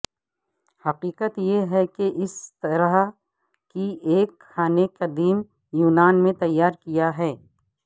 حقیقت یہ ہے کہ اسی طرح کی ایک کھانے قدیم یونان میں تیار کیا ہے